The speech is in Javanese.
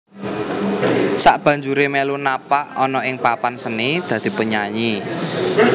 Sakbanjuré melu napak ana ing papan seni dadi penyanyi